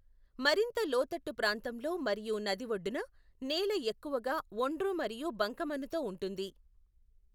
మరింత లోతట్టు ప్రాంతంలో మరియు నది ఒడ్డున, నేల ఎక్కువగా ఒండ్రు మరియు బంకమన్నుతో ఉంటుంది.